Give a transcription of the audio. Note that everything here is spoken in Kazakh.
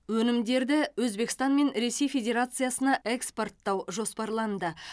өнімдер өзбекстан мен ресей федерациясына экспорттау жоспарланды